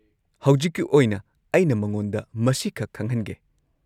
ꯍꯧꯖꯤꯛꯀꯤ ꯑꯣꯏꯅ ꯑꯩꯅ ꯃꯉꯣꯟꯗ ꯃꯁꯤꯈꯛ ꯈꯪꯍꯟꯒꯦ꯫